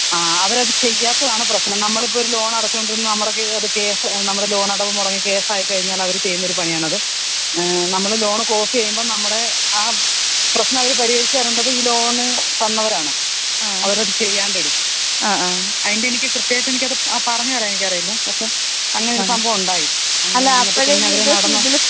ആ അവരത് ചെയ്യാത്തതാണ് പ്രശ്നം നമ്മളിപ്പൊ ഒരു ലോൺ അടച്ചോണ്ടിരുന്ന അത് കേസ് നമ്മളെ ലോണടവ് മൊടങ്ങി അത് കേസായി കഴിഞ അവര് ചെയ്യുന്ന പണിയാണത്. ഏ നമ്മള് ലോൺ ക്ലോസിയ്യുമ്പം നമ്മടെ ആ പ്രശ്നം പരിഹരിച്ച് തരണ്ടത് ഈ ലോൺ തന്നവരാണ്. അവരത് ചെയ്യാണ്ടെ ഇടും. അതിന്റെയിത് ക്രിത്യമായിട്ട് എനിക്ക് പറഞ് തരാൻ എനിക്കറിയില്ല. പക്ഷെ അങ്ങനെ ഒരു സംഭവണ്ടായി. എന്നിട്ട് പിന്നെ അവര് നടന്ന്.